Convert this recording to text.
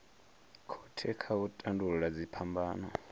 khothe kha u tandulula dziphambano